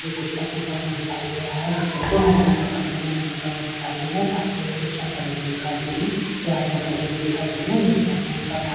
ये कुत्ता सोता हुआ दिखाई दे रहा है कुत्ते को हरे रंग के कपडे में लिपटा हुआ दिखाई दे रहा है पास में इंजेक्शन पड़े हुए दिखाई दे रहे है दो आदमी खड़े हुए दिखाई दे रहे है जिन्होंने अपने मुँह पर मास्क --